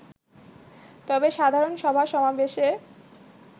তবে সাধারণ সভা-সমাবেশে